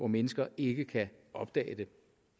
mennesker ikke kan opdage det